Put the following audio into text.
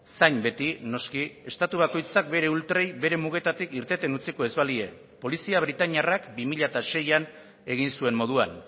zain beti noski estatu bakoitzak bere ultrei bere mugetatik irteten utziko ez balie polizia britainiarrak bi mila seian egin zuen moduan